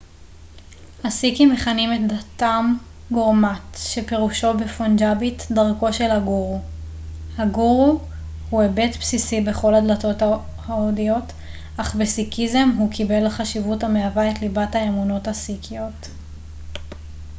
הסיקים מכנים את דתם גורמאט שפירושו בפונג'אבית דרכו של הגורו הגורו הוא היבט בסיסי בכל הדתות ההודיות אך בסיקיזם הוא קיבל חשיבות המהווה את ליבת האמונות הסיקיות